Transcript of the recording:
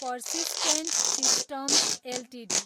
persistent systems Ltd